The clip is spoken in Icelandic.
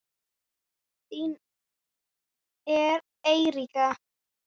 Þín Eiríka.